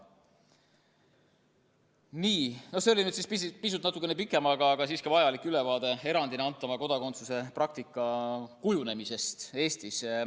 Nii, see oli nüüd natukene pikem, aga siiski vajalik ülevaade erandina antava kodakondsuse praktika kujunemisest Eestis.